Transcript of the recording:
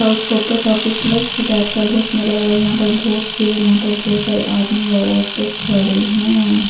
उसका ऊपर काफी प्लस की टाइप का बहुत सुंदर लग रहा है यहां पर बहुत यहां पर बहुत सारे आदमी व औरतें खड़ी हैं.